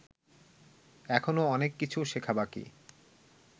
এখনও অনেক কিছু শেখা বাকি